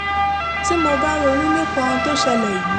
tí mo bá ronú nípa ohun tó ṣẹlẹ̀ yìí